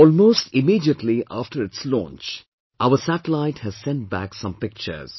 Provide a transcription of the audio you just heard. Almost immediately after its launch, our satellite has sent back some pictures